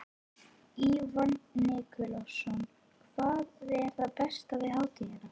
Ívan Nikulásson: Hvað er það besta við hátíðina?